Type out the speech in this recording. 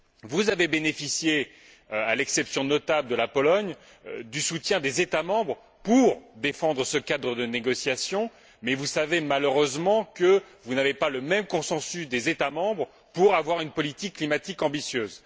Vous avez bénéficié, à l'exception notable de la Pologne, du soutien des États membres pour défendre ce cadre de négociations mais vous savez, malheureusement, que vous n'avez pas le même consensus des États membres pour mettre en œuvre une politique climatique ambitieuse.